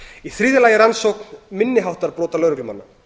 í þriðja lagi er rannsókn minni háttar brota lögreglumanna